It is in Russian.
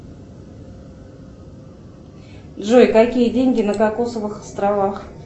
джой какие деньги на кокосовых островах